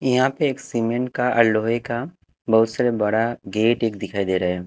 यहाँ पे एक सीमेंट का और लोहे का बहुत सारा बड़ा गेट एक दिखाई दे रहा है।